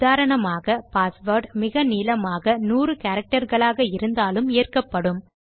உதாரணமாக பாஸ்வேர்ட் மிக நீளமாக 100 கேரக்டர் களாக இருந்தாலும் ஏற்கப்படும்